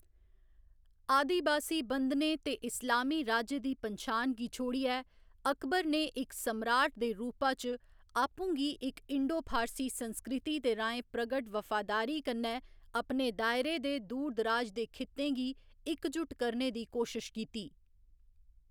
आदिबासी बंधनें ते इस्लामी राज्य दी पन्छान गी छोड़ियै, अकबर ने इक सम्राट दे रूपा च आपूं गी इक इंडो फारसी संस्कृति दे राहें प्रकट वफादारी कन्नै अपने दायरे दे दूर दराज दे खित्तें गी इकजुट करने दी कोशश कीती।